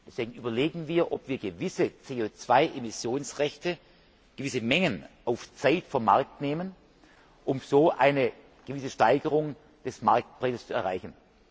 Deswegen überlegen wir, ob wir gewisse CO Emissionsrechte, gewisse Mengen, auf Zeit vom Markt nehmen, um so eine gewisse Steigerung des Marktpreises zu erreichen.